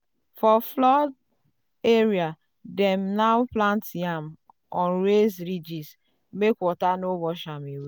for flood area dem now plant yam on raised ridges make water no wash am away.